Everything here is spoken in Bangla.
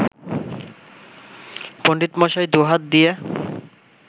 পণ্ডিতমশাই দুহাত দিয়ে